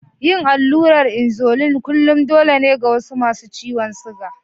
Yin allurar insulin kullum dole ne ga wasu masu ciwon siga.